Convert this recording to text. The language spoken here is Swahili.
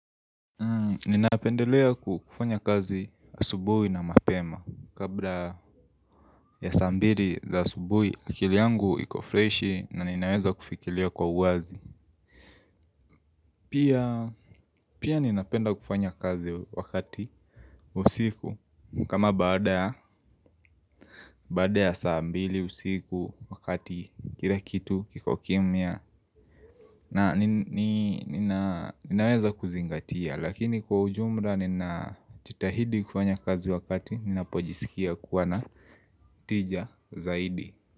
Ninapendelea kufanya kazi asubui na mapema. Kabla ya saa mbili za asubui akili yangu iko freshi na ninaweza kufikilia kwa uwazi. Pia ninapenda kufanya kazi wakati usiku. Kama baada ya saa mbili usiku wakati kila kitu kiko kimya. Na ninaweza kuzingatia Lakini kwa ujumla ninajitahidi kufanya kazi wakati Ninapojisikia kuwa na tija zaidi.